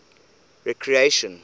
recreation